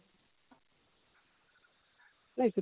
ନାଇଁ